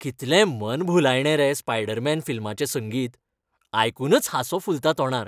कितलें मनभुलायणें रे स्पायडरमॅन फिल्माचें संगीत, आयकूनच हांसो फुलता तोंडार.